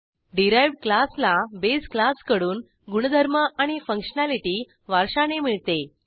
derived क्लासला base क्लासकडून गुणधर्म आणि फंक्शनॅलिटी वारशाने मिळते